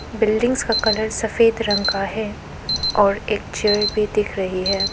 Buildings का colour सफेद रंग का है और एक चेयर भी दिख रही है।